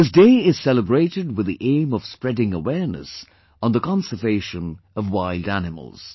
This day is celebrated with the aim of spreading awareness on the conservation of wild animals